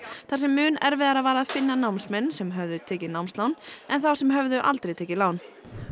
þar sem mun erfiðara var að finna námsmenn sem höfðu tekið námslán en þá sem höfðu aldrei tekið lán